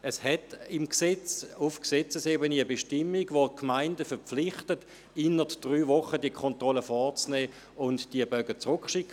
Es besteht auf Gesetzesebene eine Bestimmung, die die Gemeinden verpflichtet, diese Kontrollen innert drei Wochen vorzunehmen und die Bögen an das Komitee zurückzuschicken.